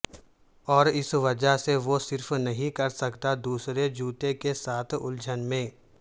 اور اس وجہ سے وہ صرف نہیں کر سکتا دوسرے جوتے کے ساتھ الجھن میں